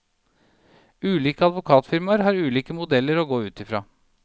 Ulike advokatfirmaer har ulike modeller å gå ut fra.